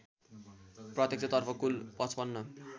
प्रत्यक्षतर्फ कुल ५५